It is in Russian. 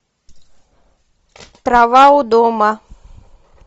трава у дома